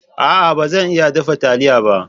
A'a! ba zan iya dafa taliya ba.